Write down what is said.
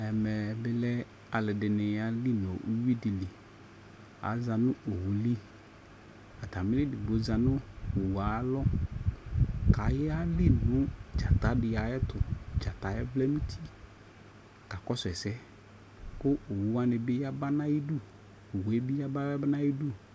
ɛmɛ bi lɛ alʋɛdini yɛli nʋ ɔwʋ nʋ ʋwidili, aza nʋ ɔwʋli atamili ɛdigbɔ zanʋ ɔwʋɛ alɔ kʋayɛli nʋ dzata di ayɛtʋ, dzataɛ vlɛnʋ ʋti kakɔsʋ ɛsɛ kʋ ɔwʋ wani bi yaba nʋ ayidʋ